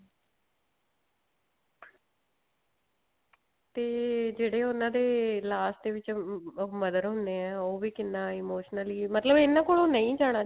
ਤੇ ਜਿਹੜੇ ਉਹਨਾ ਦੇ last ਵਿੱਚ mother ਹੁੰਨੇ ਆਂ ਉਹ ਵੀ ਕਿੰਨਾ emotionally ਮਤਲਬ ਇਹਨਾ ਕੋਲੋਂ ਨਹੀ ਜਾਣਾ